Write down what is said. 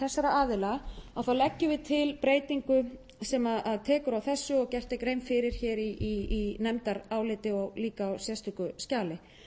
þessara aðila leggjum við til breytingu sem tekur á þessu og gerð er grein fyrir í nefndaráliti og líka á sérstöku skjali